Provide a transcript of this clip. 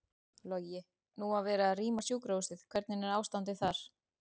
Logi: Nú var verið að rýma sjúkrahúsið, hvernig er ástandið þar?